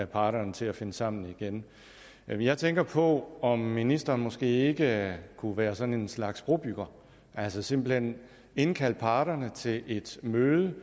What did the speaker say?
parterne til at finde sammen igen jeg tænker på om ministeren måske ikke kunne være sådan en slags brobygger altså simpelt hen indkalde parterne til et møde